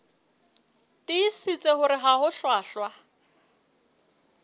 tiisitse hore ha ho hlwahlwa